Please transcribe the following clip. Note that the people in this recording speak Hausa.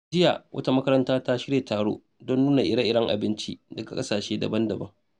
Jiya, wata makaranta ta shirya taro don nuna ire-iren abinci daga kasashe daban-daban.